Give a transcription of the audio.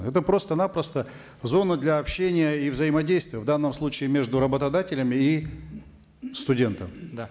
это просто напросто зона для общения и взаимодействия в данном случае между работодателем и студентом да